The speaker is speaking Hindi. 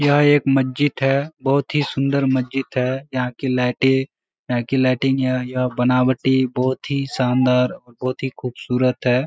यह एक मस्जिद है। बहोत ही सुंदर मस्जिद है। यहाँ कि लाइटें यहाँ कि लाइटिंग यहाँ बनावाटी बहोत ही शानदार बहोत ही खूबसूरत है।